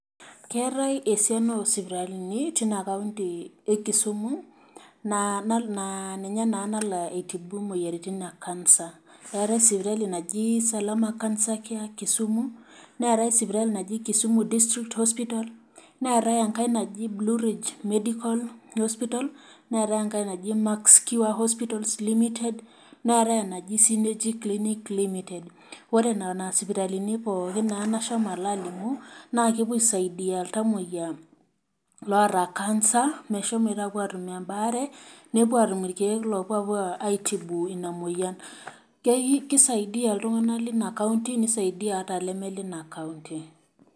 Keetae esuana oosipitalini teina kaunti e Kisumu naa ninye naa nalo aitibu imoyiaritin e kansa. Keetae sipitali naji Salama kansa care Kisumu. Neetai sipitali naji kisuma District Hospital neetae enkae naji Nurich Medical Hospital. Neetae enkae naji Max Cure Hospital Limited. Neetae enaji Sinetix clinic limited. Ore nena sipitalini naa pooki nashomo alo alimu naa kepuo aisadia iltamoyia oota kansa meshomoito aatum embaare nepuo aatum irkeer oopuo aisadia[sc] peyie eitbu ina moyian. Keisadia iltunganak leina kaunti oleme leina kaunti.